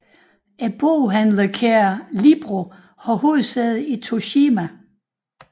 Boghandlerkæden Libro har hovedsæde i Toshima